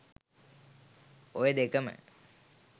ඔය දෙකම